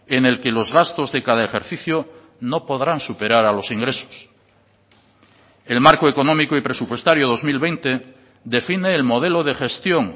en el que los gastos de cada ejercicio no podrán superar a los ingresos el marco económico y presupuestario dos mil veinte define el modelo de gestión